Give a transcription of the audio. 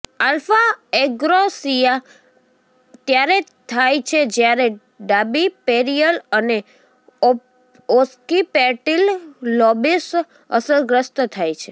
alpha agnosia ત્યારે થાય છે જ્યારે ડાબી પેરિઅલ અને ઓસ્કિપેટીલ લોબિસ અસરગ્રસ્ત થાય છે